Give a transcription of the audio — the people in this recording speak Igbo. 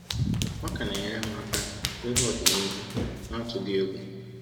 Ọ ka na-enyere m aka ihu ọdịnihu n’atụghị egwu.